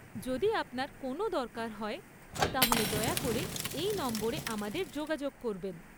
যদি আপনার কোনও দরকার হয় তাহলে দয়া করে এই নম্বরে আমাদের যোগাযোগ করবেন।